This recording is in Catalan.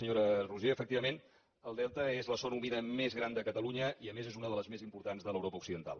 senyora roigé efectivament el delta és la zona humida més gran de catalunya i a més és una de les més importants de l’europa occidental